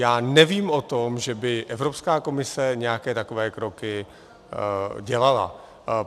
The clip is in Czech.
Já nevím o tom, že by Evropská komise nějaké takové kroky dělala.